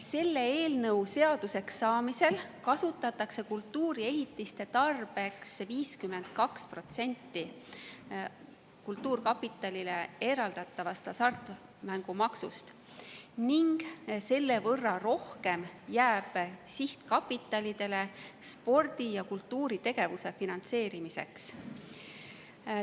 Selle eelnõu seaduseks saamisel kasutatakse kultuuriehitiste tarbeks 52% kultuurkapitalile eraldatavast hasartmängumaksust ning selle võrra rohkem jääb sihtkapitalidele spordi‑ ja kultuuritegevuse finantseerimiseks.